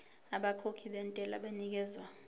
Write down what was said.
abakhokhi bentela banikezwa